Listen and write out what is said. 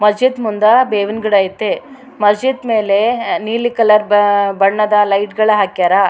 ಮಸೀದ್ ಮುಂದ ಬೇವಿನ್ ಗಿಡ ಐತೆ ಮಸೀದ್ ಮೇಲೆ ನೀಲಿ ಕಲರ್ ಬ ಬಣ್ಣದ ಲೈಟ್ ಗಳ ಹಾಕ್ಯಾರ.